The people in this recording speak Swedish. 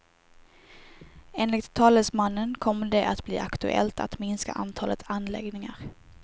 Enligt talesmannen kommer det att bli aktuellt att minska antalet anläggningar.